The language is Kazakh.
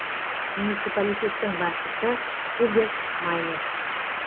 муниципалитеттің басшысы хуберт майнерс